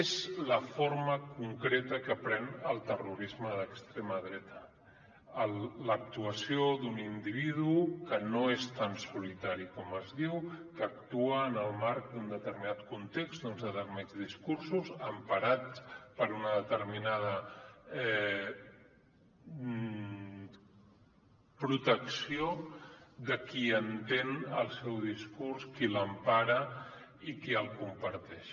és la forma concreta que pren el terrorisme d’extrema dreta l’actuació d’un individu que no és tan solitari com es diu que actua en el marc d’un determinat context d’uns determinats discursos emparat per una determinada protecció de qui entén el seu discurs qui l’empara i qui el comparteix